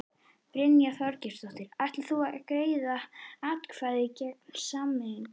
Brynja Þorgeirsdóttir: Ætlarðu að greiða atkvæði gegn samningnum?